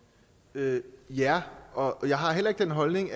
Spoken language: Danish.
ja ja og jeg har heller ikke den holdning